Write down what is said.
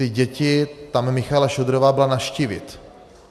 Ty děti paní Michaela Šojdrová byla navštívit.